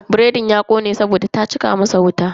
Biredin ya kone saboda ta cika masa wuta.